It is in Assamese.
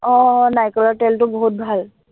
আহ আহ নাৰিকলৰ তেলটো বহুত ভাল